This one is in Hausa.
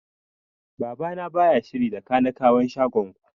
Baba na baya shiri da kanikawan shagon ku